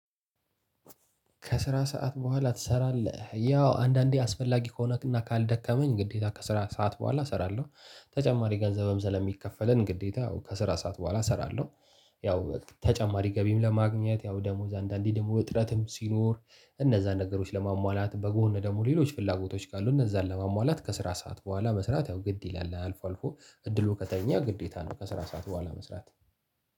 ከስራ ሰዓት በኋላ ትሰራለህ? ያው አንዳንዴ አስፈላጊ ከሆነና ካልደከመኝ ግዴታ ከስራ ሰዓት በኋላ እሰራለሁ ተጨማሪ ገንዘብም ስለሚከፈለን ግዴታ ያው ከስራ ሰዓት በኋላ እሰራለሁ። ያው ተጨማሪ ገቢም ለማግኘት ያው ደሞዝ አንዳንዴ ደግሞ እጥረትም ሲኖር እነዛን ነገሮች ለማሟላት በጎን ደግሞ ሌሎች ፍላጎቶች ካሉ እነዛን ለማሟላት ከስራ ሰዓት በኋላ መስራት ያው ግድ ይላል አልፎ አልፎ። እድሉ ከተገኘ ግዴታ ነው ከስራ ሰዓት በኋላ መስራት።